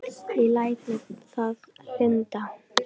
Ég læt mér það lynda.